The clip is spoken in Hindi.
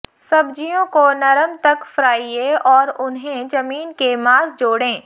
सब्जियों को नरम तक फ्राइये और उन्हें जमीन के मांस जोड़ें